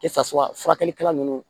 Kɛtasu wa furakɛlikɛla nunnu